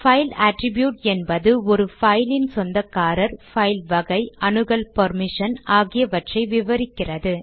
file attribute என்பது ஒரு பைலின் சொந்தக்காரர் பைல் வகை அணுகல் பெர்மிஷன் போன்றவற்றை விவரிக்கிறது